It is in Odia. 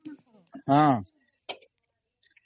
ହଁ